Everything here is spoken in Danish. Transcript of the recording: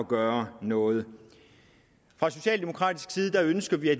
gøre noget fra socialdemokratisk side ønsker vi at